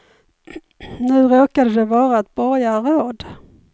Nu råkade det vara ett borgarråd.